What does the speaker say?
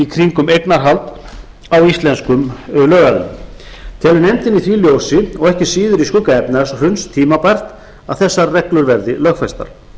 kringum eignarhald á íslenskum lögaðilum telur nefndin í því ljósi og ekki síður í skugga efnahagshruns tímabært að þessar reglur verði lögfestar